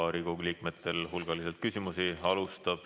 Riigikogu liikmetel on teile hulgaliselt küsimusi.